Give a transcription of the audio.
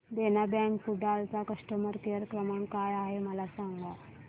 देना bank Kudal चा customer care क्रमांक काय आहे मला सांगा